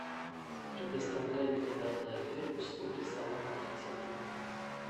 предоставляет ли данный отель услуги салонов красоты